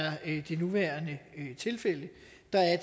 det nuværende tilfælde der er